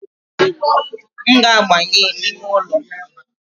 M ga-aba n’ime ụlọ